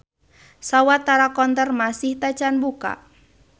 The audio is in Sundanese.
Sawatara counter masih tacan buka.